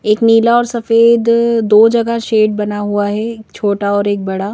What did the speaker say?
एक नीला और सफेद अ दो जगह शेड बना हुआ है एक छोटा और एक बड़ा --